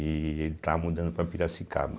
E ele está mudando para Piracicaba.